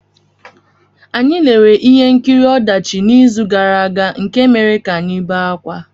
Anyị lere ihe nkiri ọdachi n’izu gara aga nke mere ka anyị bee ákwá.